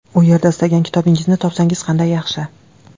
U yerda istagan kitobingizni topsangiz qanday yaxshi.